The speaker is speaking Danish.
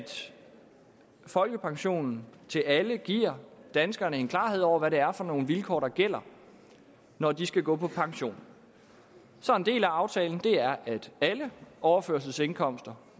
folkepensionen til alle giver danskerne en klarhed over hvad det er for nogle vilkår der gælder når de skal gå på pension så en del af aftalen er at alle overførselsindkomster